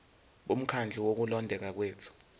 bomkhandlu wokulondeka kwethu